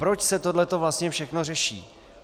Proč se tohle vlastně všechno řeší?